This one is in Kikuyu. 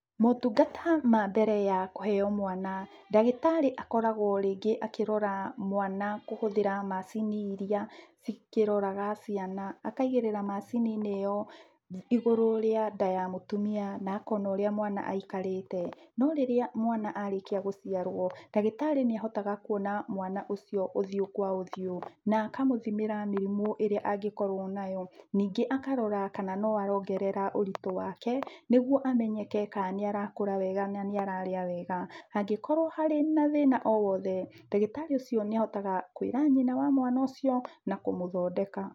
Motungata ma mbere ya kuheo mwana ndagĩtarĩ akoragwo rĩngĩ akĩrora mwana kũhũthĩra macini iria cikĩroraga ciana. Akaigĩrĩra macini iyo igũrũ rĩa nda ya mũtumia na akona ũrĩa mwana aikarĩte. No rĩrĩa mwana arĩkia gũciarwo ndagĩtarĩ nĩ ahotaga kuona mwana ũcio ũthiũ kwa ũthiũ na akamũthimĩra mĩrimũ ĩria angĩkorwo nayo. Ningĩ akarora kana no arongerera ũritũ wake niguo amenyeke ka nĩ arakũra wega na nĩ ararĩa wega. Hangĩkorwo harĩ na thĩna o wothe ndagĩtarĩ ũcio nĩ ahotaga kwĩra nyina wa mwana ũcio na kũmũthondeka.